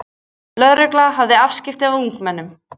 Lögregla hafði afskipti af ungmennum